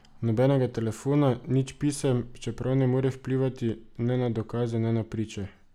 Nobenega telefona, nič pisem, čeprav ne more vplivati ne na dokaze ne na priče.